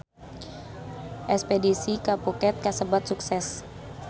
Espedisi ka Phuket kasebat sukses